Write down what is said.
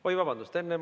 Oi, vabandust!